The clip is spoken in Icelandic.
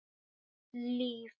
Eitt líf.